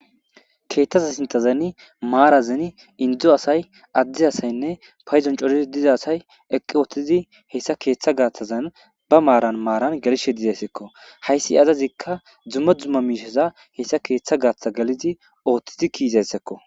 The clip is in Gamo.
keeththaza sintazani maarazeni indzo asay addi asaynne payzon cori diza asay eqqi ooththidi hessa keeththa gaathazan ba maaran maaran gelishe dizayssekko hayssi azazikka dzumma dzumma miisheza hessa keeththa gaaththa galidi ooththidi kiizayssekko